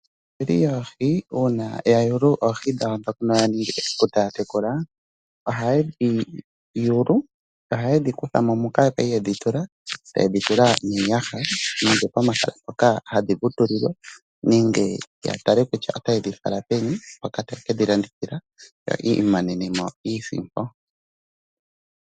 Aatekuli yoohi uuna ya yulu oohi dhawo dhono ya ningi esiku taya tekula, ohaye dhi kutha mo moka yali yedhi tula, taye dhi tula miiyaha nenge pomahala mpoka hadhi vutulilwa. Nenge ya tale kutya otaye dhi fala peni mpoka taye ke dhi landithila ya imonene iisimpo.